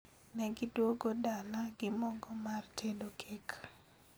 negiduogo dala gi mogo mar tedo kek